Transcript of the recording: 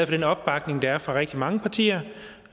den opbakning der er fra rigtig mange partier